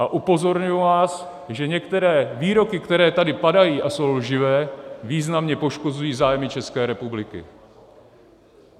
A upozorňuji vás, že některé výroky, které tady padají a jsou lživé, významně poškozují zájmy České republiky.